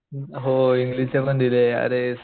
हो इंग्लिश चे पण दिले आरे